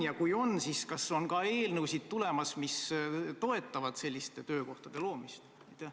Ja kas on ka eelnõusid tulemas, mis toetavad selliste töökohtade loomist?